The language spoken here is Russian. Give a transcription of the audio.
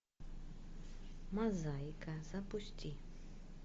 мозаика запусти